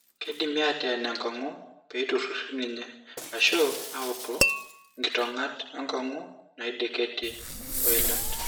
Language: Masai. Keidimi aateen enkong'u peitururi ninye, ashu autu inkitong'at enkong'u naideketie o ilat.